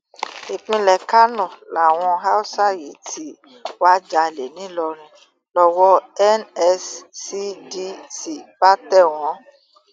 ìpínlẹ kánó làwọn haúsá yìí tí wàá jalè nìlọrin lọwọ nscdc bá tẹ wọn